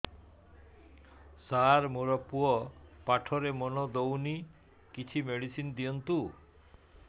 ସାର ମୋର ପୁଅ ପାଠରେ ମନ ଦଉନି କିଛି ମେଡିସିନ ଦିଅନ୍ତୁ